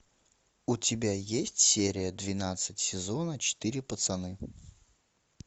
у тебя есть серия двенадцать сезона четыре пацаны